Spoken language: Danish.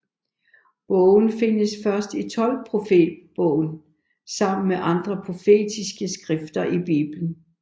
Bogen findes først i tolvprofetbogen sammen med andre profetiske skrifter i Bibelen